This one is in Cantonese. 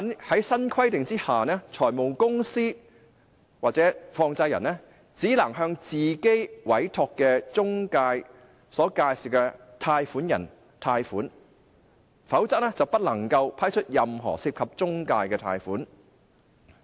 在新規定之下，財務公司或放債人只能向自己委託的中介公司所介紹的貸款人貸款，否則不能批出任何涉及中介公司的貸款。